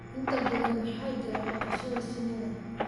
Inta badan waxaa jira dhaqashada shinida